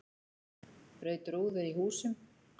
Braut rúður í húsum